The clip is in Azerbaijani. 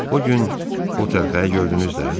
O gün o təlxəyi gördünüz də?